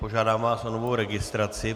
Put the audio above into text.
Požádám vás o novou registraci.